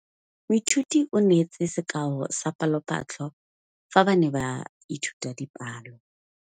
Moithuti o neetse sekaô sa palophatlo fa ba ne ba ithuta dipalo.